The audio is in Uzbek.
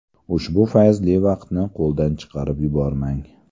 Ushbu fayzli vaqtni qo‘ldan chiqarib yubormang!